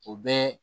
O bɛ